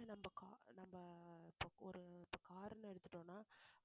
இல்ல car~ நம்ம இப்போ ஒரு car எடுத்துட்டோம்ன்னா